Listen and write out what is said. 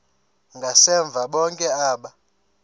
ngasemva bonke aba